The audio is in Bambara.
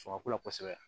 Sɔngɔ ko la kosɛbɛ